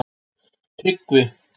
Tryggvi